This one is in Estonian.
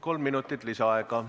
Kolm minutit lisaaega.